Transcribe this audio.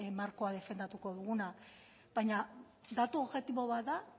markoa defendatuko duguna baina datu objektibo bat da